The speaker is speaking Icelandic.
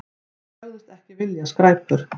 Þeir sögðust ekki vilja skræpur.